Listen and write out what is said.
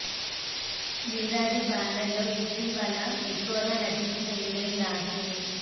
Dil Raju banner లో ఇటీవల ఎక్కువగా నటించిన హీరోయిన్ రాశినే